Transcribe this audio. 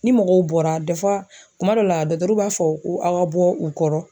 Ni mɔgɔw bɔra kuma dɔ la b'a fɔ ko aw ka bɔ u kɔrɔ.